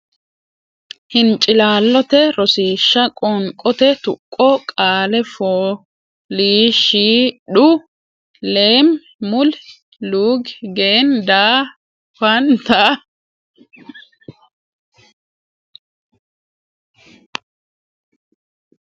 hincilaallote Rosiishsha Qoonqote Tuqqo Qaale foo liish shi dhu leem mul luug gen daa fan tan nok Qoonqote Tuqqo Babbada qaalla qoonqote tuqqo deerrinni babbaddine daftari nera borreesse.